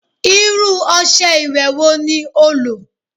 Irú ọṣẹ ìwẹ̀ wo ní o lò?